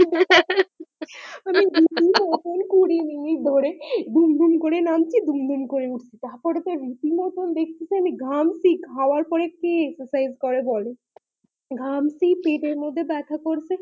ঘামছি পেটের মধ্যে ব্যাথা করছে কুড়ি মিনিট ধরে দুম দুম করে নামছি দুম দুম করে উঠছি তার পর দেখছি ঘামছি ঝামার পরে কে exercises করে বলো